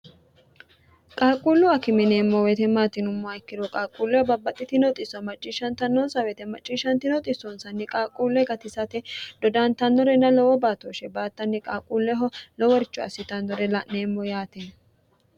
qaaqquullu a kimineemmo weetemaatinummo ikkiro qaaqquulleho babbaxxitinoxiso macciishshantannonsa weyete macciishshanti noxisoonsanni qaaqquulle gatisate dodantannore na lowo baatooshshe baattanni qaaqquulleho loworcho assitannore la'neemmo yaati